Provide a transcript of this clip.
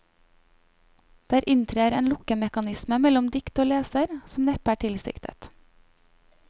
Der inntrer en lukkemekanisme mellom dikt og leser, som neppe er tilsiktet.